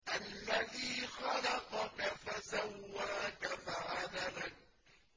الَّذِي خَلَقَكَ فَسَوَّاكَ فَعَدَلَكَ